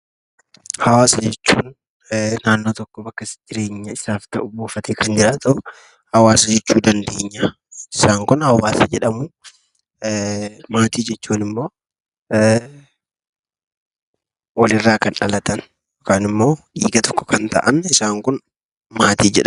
Hawaasa jechuun naannoo tokko bakka isaaf jireenya isaaf ta'u buufatee kan jiraatu hawaasa jechuu dandeenya. Isaan kun hawaasa jedhamu, maatii jechuunimmoo walirraa kan dhalaatan yookaanimmoo dhiiga tokko kan ta'an isaan kun maatii jedhamu.